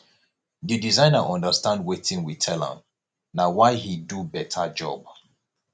the designer understand wetin we tell am na why he do beta job